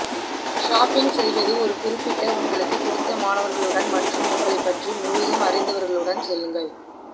shopping செய்வது ஒரு குறிப்பிட்ட உங்களுக்கு பிடித்தமானவர்களுடன் மற்றும் உங்களை பற்றி முழுதும் அறிந்தவர்களுடன் செல்லுங்கள்